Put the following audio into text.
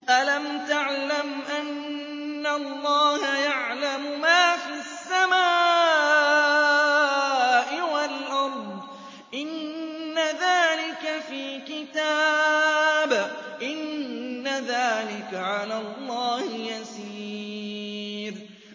أَلَمْ تَعْلَمْ أَنَّ اللَّهَ يَعْلَمُ مَا فِي السَّمَاءِ وَالْأَرْضِ ۗ إِنَّ ذَٰلِكَ فِي كِتَابٍ ۚ إِنَّ ذَٰلِكَ عَلَى اللَّهِ يَسِيرٌ